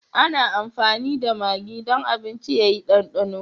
Ana amfani da magi don abinci ya yi ɗandano.